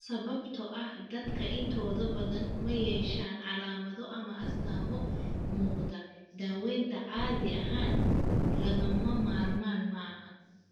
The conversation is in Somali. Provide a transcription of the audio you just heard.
Sababtoo ah dadka intooda badan ma yeeshaan calaamado ama astaamo muuqda, daaweyntu caadi ahaan lagama maarmaan maaha.